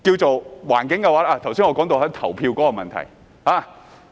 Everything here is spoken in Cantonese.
噢，我剛才說到投票的問題。